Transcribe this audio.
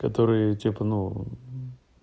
которые типа ну